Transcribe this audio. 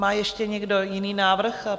Má ještě někdo jiný návrh?